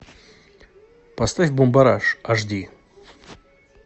поставь бумбараш аш ди